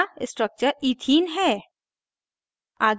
नया structure ethene ethene है